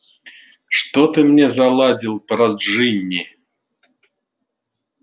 что ты мне заладил про джинни